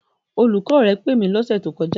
Olùkọ́ rẹ pè mí lọ́sẹ̀ tó kọjá.